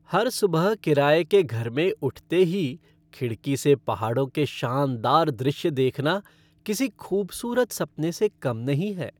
हर सुबह किराए के घर में उठते ही खिड़की से पहाड़ों के शानदार दृश्य देखना किसी ख़ूबसूरत सपने से कम नहीं है।